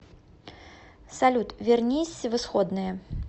салют вернись в исходное